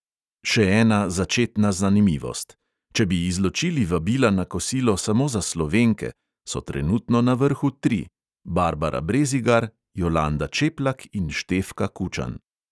Še ena začetna zanimivost: če bi izločili vabila na kosilo samo za slovenke, so trenutno na vrhu tri: barbara brezigar, jolanda čeplak in štefka kučan.